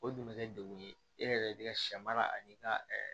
O dun bɛ kɛ degun ye e yɛrɛ de ka sɛ mara ani ka